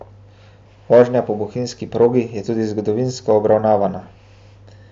Vožnja po bohinjski progi je tudi zgodovinsko obarvana.